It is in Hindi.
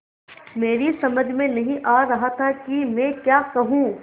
मेरी समझ में नहीं आ रहा था कि मैं क्या कहूँ